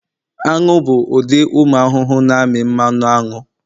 anu bụ ụdị ụmụ ahụhụ na-amị mmanụ aṅụ